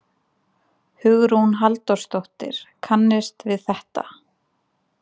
Hugrún Halldórsdóttir: Kannist við þetta?